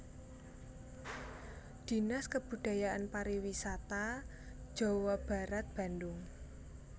Dinas Kebudayaan Pariwisata Jawa Barat Bandung